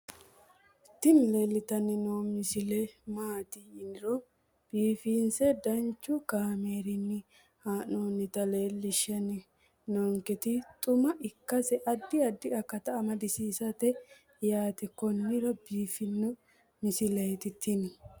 tini leeltanni noo misile maaati yiniro biifinse danchu kaamerinni haa'noonnita leellishshanni nonketi xuma ikkase addi addi akata amadaseeti yaate konnira biiffanno misileeti tini